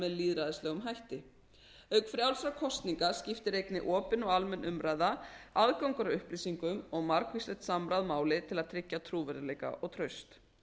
með lýðræðislegum hætti auk frjálsra kosninga skiptir einnig opin og almenn umræða aðgangur að upplýsingum og margvíslegt samráð máli til að tryggja trúverðugleika og traust